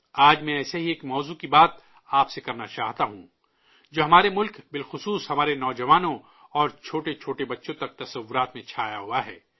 آج میں ایسے ہی ایک موضوع پر آپ سے بات کرنا چاہتا ہوں، جو ہمارے ملک، خاص کر ہمارے نوجوانوں اور چھوٹے چھوٹے بچوں تک کے تصورات میں چھایا ہوا ہے